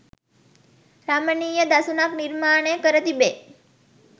රමණීය දසුනක් නිර්මාණය කර තිබේ